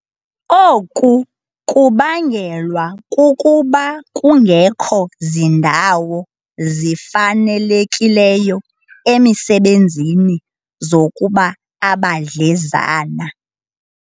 Oku kubangelwa kukuba kungekho zindawo zifanelekileyo emisebenzini zokuba abadlezana